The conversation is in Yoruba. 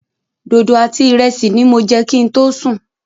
Dodo àti ìrẹsì ní mo jẹ kin tó sùn.